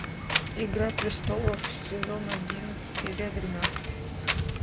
игра престолов сезон один серия двенадцать